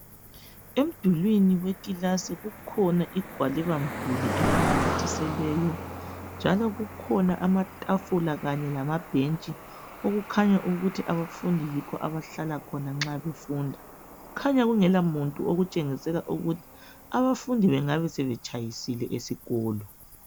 Emdulwini wekilasi kukhona igwalibamduli elinamthiselweyo,. Njalo kukhona amathafula kanye lamabhentshi okukhanya ukuthi abafundi yikho abahlala khona nxa befunda, kukhanya kungelamuntu okutshengisela ukuthi abafundi bengabe betshayisile esikolo.